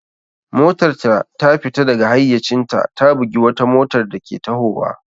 Motarta ta fita daga hayyacinta ta bugi wata motar dake tahowa.